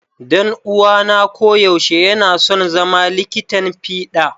Dan'uwana koyaushe yana son zama likitan fiɗa.